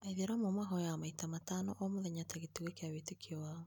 Aĩithĩramu mahoyaga maita matano o mũthenya ta gĩtugĩ kĩa wĩtĩkio wao.